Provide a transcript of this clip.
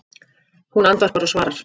Hún andvarpar og svarar